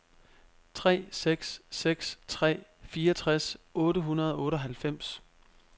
tre seks seks tre fireogtres otte hundrede og otteoghalvfems